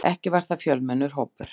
Ekki var það fjölmennur hópur.